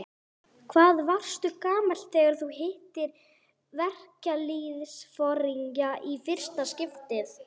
Hvað varstu gamall þegar þú hittir verkalýðsforingja í fyrsta skipti?